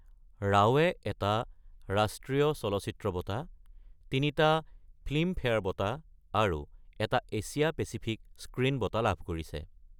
ৰাওৱে এটা ৰাষ্ট্ৰীয় চলচ্চিত্ৰ বঁটা, তিনিটা ফিল্মফেয়াৰ বঁটা আৰু এটা এছিয়া পেচিফিক স্ক্ৰীণ বঁটা লাভ কৰিছে।